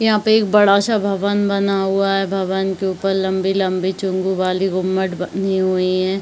यहाँ पे एक बड़ा सा भवन बना हुआ है भवन के ऊपर लंबी-लंबी चुम्बु वाली वूममेट बनी हुई है।